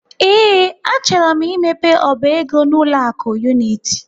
Ee, achọrọ m imepe ọba ego n'ụlọ akụ Unity.